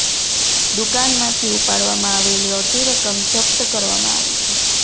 દુકાનમાંથી ઉપાડવામાં આવેલી અડધી રકમ જપ્ત કરવામાં આવી છે